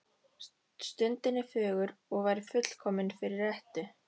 Stundin er fögur og væri fullkomin fyrir rettu.